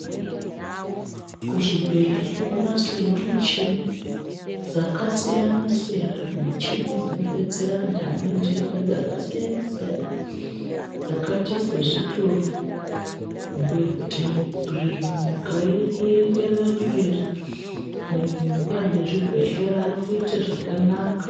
Kuzvibhedhlera konasirwa michini dzakasiyana siyana michini dzinodetsera vantu vane ndenda dzakasiyana siyana dzakaita sezvitoro kubhuya kuti nyika iri kuenda mberi anhu mezvibhedhlera akuita zvakanaka.